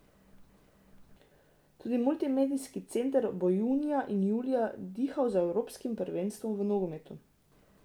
Tudi Multimedijski center bo junija in julija dihal z evropskim prvenstvom v nogometu.